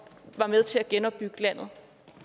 var med til at genopbygge landet